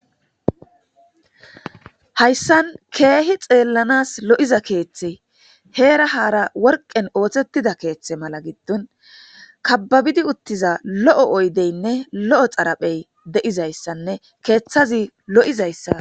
Hayisan kehi xelanas lo'iza kethe hera hara woriqen osetida kethe malates kababidi utida lo'o oyideyinee lo'o xariphey de'izayisanee kethazi lo'izayisa